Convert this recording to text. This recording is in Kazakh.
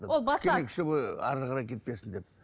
ол басады әрі қарай кетпесін деп